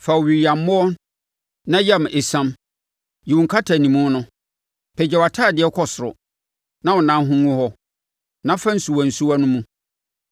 Fa owiyammoɔ na yam esiam; yi wo nkatanimu no. Pagya wʼatadeɛ kɔ soro, na wo nan ho ngu hɔ, na fa nsuwansuwa no mu.